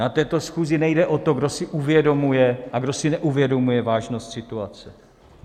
Na této schůzi nejde o to, kdo si uvědomuje a kdo si neuvědomuje vážnost situace.